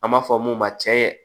An b'a fɔ mun ma cɛ